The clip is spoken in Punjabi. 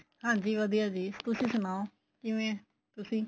ਹਾਂਜੀ ਵਧੀਆ ਜੀ ਤੁਸੀਂ ਸੁਣਾਉ ਕਿਵੇਂ ਏ ਤੁਸੀਂ